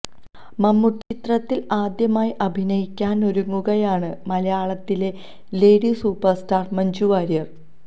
മമ്മൂട്ടി ചിത്രത്തില് ആദ്യമായി അഭിനയിക്കാനൊരുങ്ങുകയാണ് മലയാളത്തിലെ lady super star Manju Warrier